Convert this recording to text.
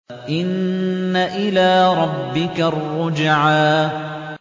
إِنَّ إِلَىٰ رَبِّكَ الرُّجْعَىٰ